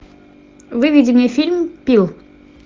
выведи мне фильм пил